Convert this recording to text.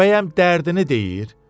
Bəyəm dərdini deyir?